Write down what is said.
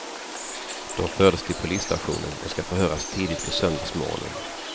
De fördes till polisstationen och ska förhöras tidigt på söndagsmorgonen.